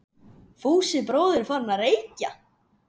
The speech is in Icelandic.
Fúsi bróðir er farinn að- reykja!